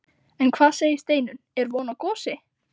En hvað segir Steinunn, er von á gosi?